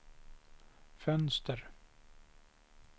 fönster